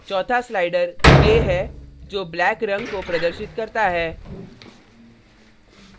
चौथा slider k है जो black रंग को प्रदर्शित करता है